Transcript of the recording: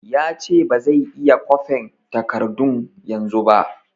Ya ce ba zai iya kwafen takardun yanzu ba